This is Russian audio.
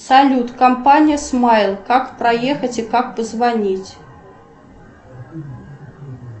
салют компания смайл как проехать и как позвонить